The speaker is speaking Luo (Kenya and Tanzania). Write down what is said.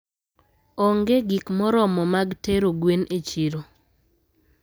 Onge gik moromo mag tero gwen e chiro.